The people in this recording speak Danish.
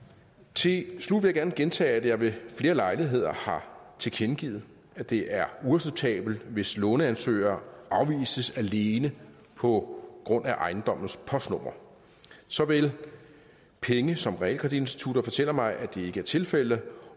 til slut vil jeg gerne gentage at jeg ved flere lejligheder har tilkendegivet at det er uacceptabelt hvis låneansøgere afvises alene på grund af ejendommens postnummer såvel penge som realkreditinstitutter fortæller mig at det ikke er tilfældet